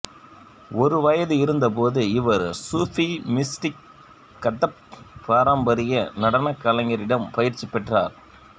ஒரு வயது இருந்த போது இவர் சூஃபி மிஸ்டிக் கதக் பாரம்பரிய நடனக் கலைஞரிடம் பயிற்சி பெற்றார்